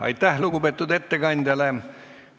Aitäh lugupeetud ettekandjale!